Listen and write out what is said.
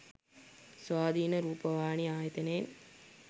ස්වාධීන රූපවාහිනී ආයතනයෙන්